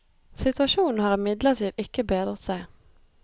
Situasjonen har imidlertid ikke bedret seg.